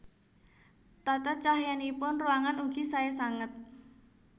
Tata cahyanipun ruangan ugi saé sanget